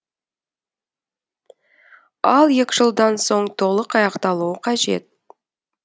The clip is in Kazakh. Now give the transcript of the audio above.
ал екі жылдан соң толық аяқталуы қажет